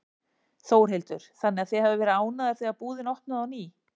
Þórhildur: Þannig að þið hafið verið ánægðar þegar búðin opnaði á ný?